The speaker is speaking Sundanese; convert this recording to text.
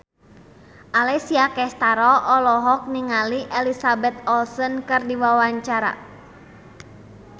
Alessia Cestaro olohok ningali Elizabeth Olsen keur diwawancara